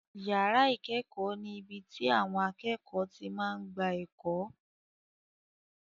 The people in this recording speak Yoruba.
Yàrá ìkẹ́kọ̀ọ́ ni ibi tí àwọn akẹ́kọ̀ọ́ ti máa ń gba ẹ̀kọ́.